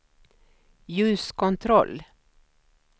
ljuskontroll